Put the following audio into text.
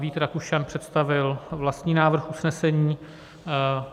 Vít Rakušan představil vlastní návrh usnesení.